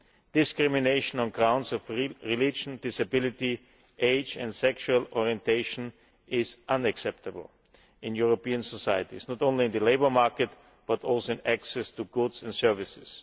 Discrimination on grounds of religion, disability, age and sexual orientation is unacceptable in European societies not only in the labour market but also in access to goods and services.